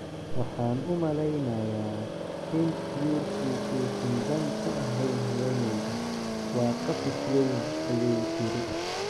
"Waxaan u maleynayaa in guurku uusan dan u ahayn haweeneyda, waa qafis weyn," ayay tiri.